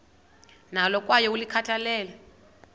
nalo kwaye ulikhathalele